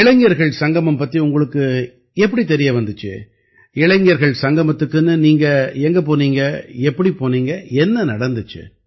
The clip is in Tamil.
இளைஞர்கள் சங்கமம் பத்தி உங்களுக்கு எப்படி தெரிய வந்திச்சு இளைஞர் சங்கமத்துக்குன்னு நீங்க எங்க போனீங்க எப்படி போனீங்க என்ன நடந்திச்சு